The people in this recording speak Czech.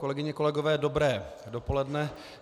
Kolegyně, kolegové, dobré dopoledne.